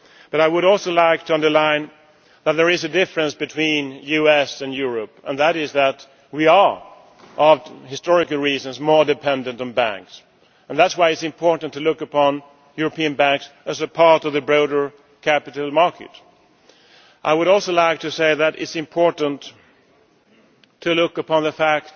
I would also like to underline a difference between the USA and Europe, and that is that we are, for historical reasons, more dependent on banks. That is why it is important to look upon European banks as part of the broader capital market. I would also like to say that it is important to look upon the